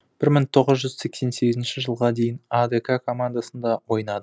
бір мың тоғыз жүз сексен сегізінші жылға дейін адк командасында ойнады